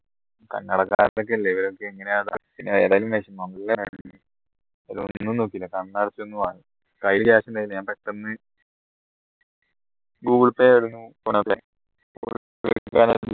കന്നടക്കാരൻ ഒക്കെ അല്ലേ ഇവരൊക്കെ എങ്ങനെയാ ഒന്നും നോക്കിയില്ല കണ്ണടച്ച് ഒന്ന് വാങ്ങി കയ്യിലെ cash ഉണ്ടായി ഞാൻ പെട്ടെന്ന് google pay